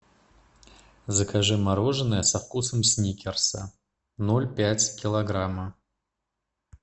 закажи мороженое со вкусом сникерса ноль пять килограмма